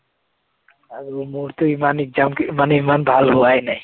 আৰু মোৰতো ইমান exam মানে ইমান ভাল হোৱা নাই।